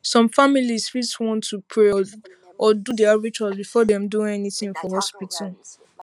some families fit want to pray or do pray or do their rituals before dem do anything for hospital